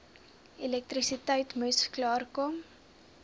elektrisiteit moes klaarkom